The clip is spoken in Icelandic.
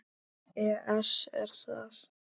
ES Er það?